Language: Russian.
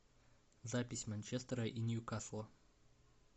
запись манчестера и ньюкасла